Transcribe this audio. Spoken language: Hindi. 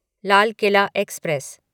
लाल किला एक्सप्रेस